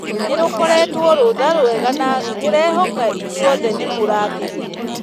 Nĩrũkoretwo rũtha rwega na ndĩrehoka inyuothe nĩmũrakenire